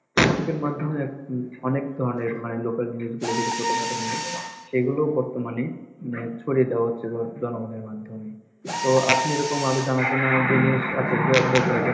ফেসবুকের মাধ্যমে অনেক ধরণের মানে local news গুলো যেগুলো ছোটোখাটো news সেইগুলো বর্তমানে উম ছড়িয়ে দেওয়া হচ্ছে জন~জনগণের মাধ্যমে তো আপনি এরকম আরো জানার জন্য